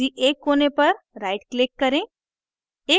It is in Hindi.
किसी एक कोने पर right click करें